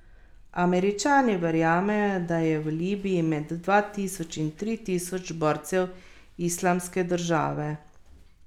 Američani verjamejo, da je v Libiji med dva tisoč in tri tisoč borcev Islamske države.